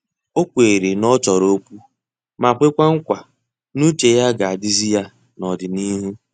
O kweere na ọ chọrọ okwu ma kwekwa nkwa n'uche ya ga-adizi ya na n'ọdịnihu.